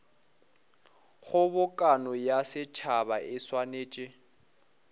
kgobokano ya setšhaba e swanetše